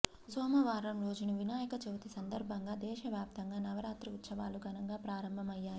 సోమవారం రోజున వినాయక చవితి సందర్భంగా దేశవ్యాప్తంగా నవరాత్రి ఉత్సవాలు ఘనంగా ప్రారంభమయ్యాయి